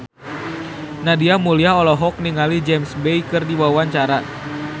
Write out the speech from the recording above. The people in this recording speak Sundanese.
Nadia Mulya olohok ningali James Bay keur diwawancara